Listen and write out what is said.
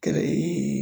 Kɛrɛ